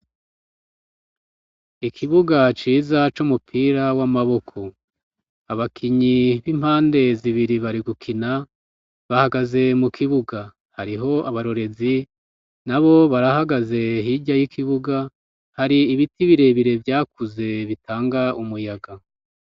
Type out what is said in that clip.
Ikibuga ciza c'umupira w'amaboko abakinyi b'impande zibiri bari gukina bahagaze mukibuga. Hariho abarorezi nabo barahagaze hirya y'ikibuga hari ibiti birebire vyakuze bitanga umuyaga.